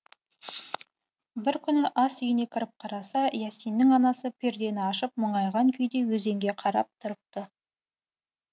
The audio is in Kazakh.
бір күні ас үйіне кіріп қараса иасиннің анасы пердені ашып мұңайған күйде өзенге қарап тұрыпты